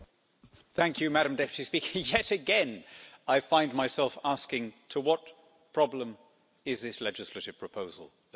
Madam President, yet again I find myself asking, to what problem is this legislative proposal the solution?